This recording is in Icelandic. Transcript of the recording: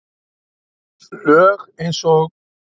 Lög eins og